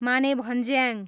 Manebhanjyang